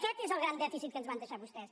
aquest és el gran dèficit que ens van deixar vostès